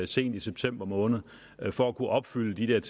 sent i september måned for at kunne opfylde de der